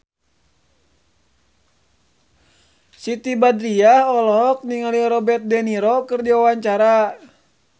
Siti Badriah olohok ningali Robert de Niro keur diwawancara